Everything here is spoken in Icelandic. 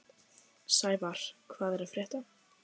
Sævarr, hvað er að frétta?